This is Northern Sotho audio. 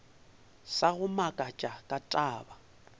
sa go makatša ka taba